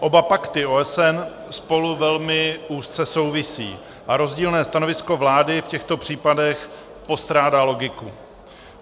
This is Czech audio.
Oba pakty OSN spolu velmi úzce souvisí a rozdílné stanovisko vlády v těchto případech postrádá logiku.